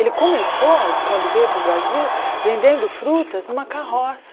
Ele começou, quando veio para o Brasil, vendendo frutas numa carroça.